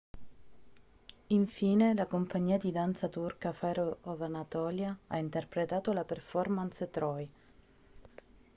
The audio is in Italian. infine la compagnia di danza turca fire of anatolia ha interpretato la performance troy